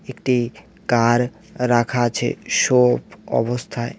একটি কার রাখা আছে শো অবস্থায়।